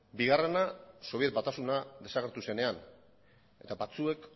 bigarrena sobietar batasuna desagertu zenean eta batzuek